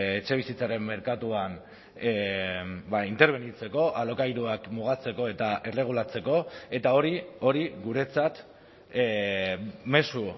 etxebizitzaren merkatuan interbenitzeko alokairuak mugatzeko eta erregulatzeko eta hori hori guretzat mezu